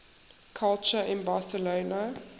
culture in barcelona